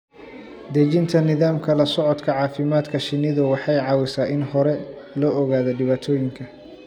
Dejinta nidaamka la socodka caafimaadka shinnidu waxay caawisaa in hore loo ogaado dhibaatooyinka.